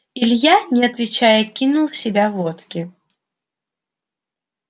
илья не отвечая кинул в себя водки